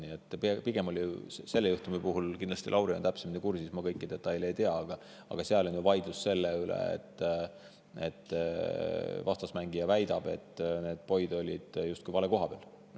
Selle juhtumi puhul aga käis vaidlus selle üle – Lauri on täpsemini kursis, mina kõiki detaile ei pruugi teada –, et vastasmängija väitel olid poid justkui vale koha peal.